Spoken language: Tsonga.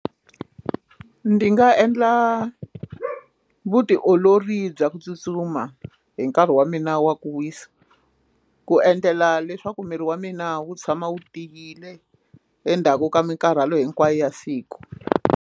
Ndi nga endla vutiolori bya ku tsutsuma hi nkarhi wa mina wa ku wisa ku endlela leswaku miri wa mina wu tshama wu tiyile endzhaku ka mikarhalo hinkwayo ya siku.